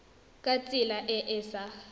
ka tsela e e sa